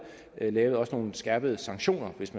laver nogle skærpede sanktioner hvis